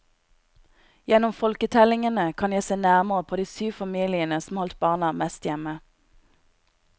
Gjennom folketellingene kan jeg se nærmere på de syv familiene som holdt barna mest hjemme.